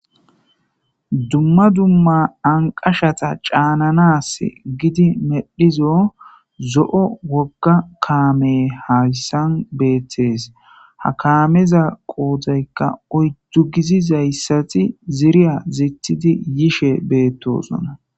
Dumma dumma naqashata caananas gidi medhizo zo'o wogga kaame hayssan beettees. Ha kaameza qoodaykka oyddu giziza issati ziriya zithidi yishe beettosona.